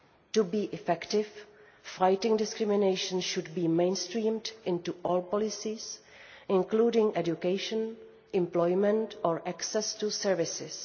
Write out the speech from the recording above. To be effective, fighting discrimination should be mainstreamed into all policies, including on education, employment and access to services.